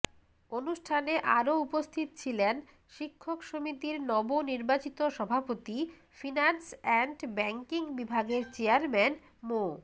অনুষ্ঠানে আরও উপস্থিত ছিলেন শিক্ষক সমিতির নবনির্বাচিত সভাপতি ফিন্যান্স অ্যান্ড ব্যাংকিং বিভাগের চেয়ারম্যান মো